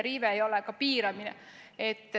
Riive ei ole ka piiramine.